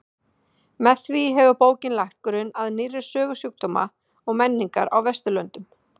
Með því hefur bókin lagt grunn að nýrri sögu sjúkdóma og menningar á Vesturlöndum.